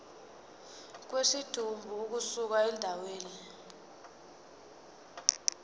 kwesidumbu ukusuka endaweni